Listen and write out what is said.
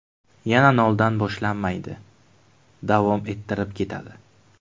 Yana noldan boshlanmaydi, davom ettirib ketadi.